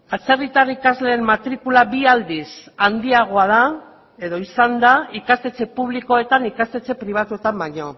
atzerritar ikasleen matrikula bi aldiz handiagoa da edo izan da ikastetxe publikoetan ikastetxe pribatuetan baino